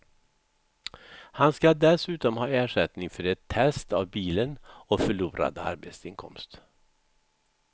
Han ska dessutom ha ersättning för ett test av bilen och förlorad arbetsinkomst.